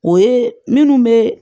O ye minnu bɛ